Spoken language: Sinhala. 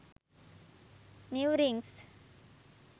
new rings